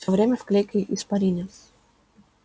всё время в клейкой испарине